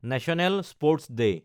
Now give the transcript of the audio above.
national sports day